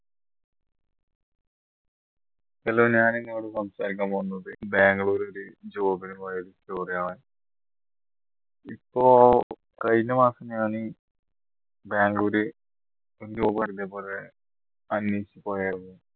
hello ഞാൻ നിങ്ങളോട് സംസാരിക്കാൻ പോകുന്നത് ബാംഗ്ലൂരിൽ job നു പോയ ഒരു story ആണ് ഇപ്പോ കഴിഞ്ഞ മാസം ഞാൻ ബാംഗ്ലൂര് ഒരു job